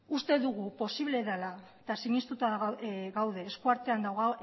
uste dugu posiblea dela eta sinestuta gaude esku artean